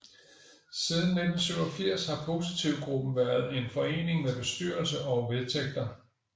Siden 1987 har Positivgruppen været en forening med bestyrelse og vedtægter